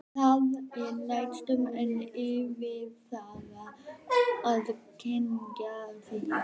Það er næstum enn erfiðara að kyngja því.